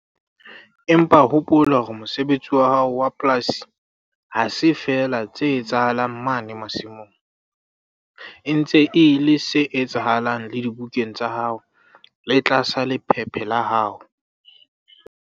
Empa hopola hore mosebetsi wa hao wa polasi ha se feela tse etsahalang mane masimong, e ntse e le se etsahalang le dibukeng tsa hao le tlasa lephephe la hao.